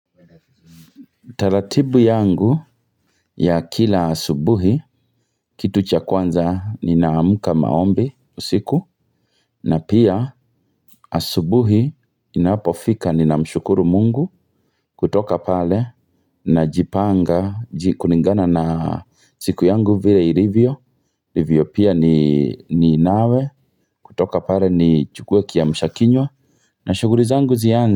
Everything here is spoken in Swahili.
Taratibu yangu ya kila asubuhi kitu cha kwanza ninaamka maombi usiku na pia asubuhi inapofika ninamshukuru mungu kutoka pale najipanga kulingana na siku yangu vile ilivyo ilivyo pia ni nawe kutoka pale nichukwe kiamshakinywa na shughuli zangu zianze.